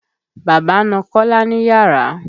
Bàbá na kọ́lá níyàrà.